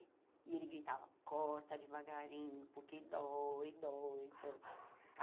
E ele gritava, corta devagarinho, porque dói, dói.